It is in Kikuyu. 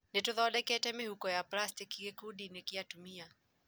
Noĩtũthindekete mĩhuko ya pracitĩki gĩkundi-inĩ kĩa atumia